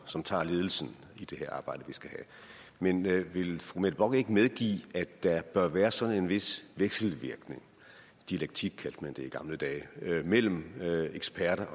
som tager ledelsen i det her arbejde vi skal have men vil fru mette bock ikke medgive at der bør være sådan en vis vekselvirkning dialektik kaldte man det i gamle dage mellem eksperter